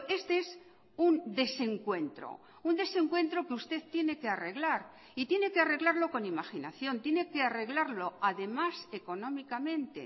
este es un desencuentro un desencuentro que usted tiene que arreglar y tiene que arreglarlo con imaginación tiene que arreglarlo además económicamente